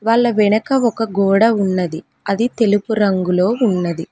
వాళ్ళ వెనక ఒక గోడ ఉన్నది అది తెలుపు రంగులో ఉన్నది.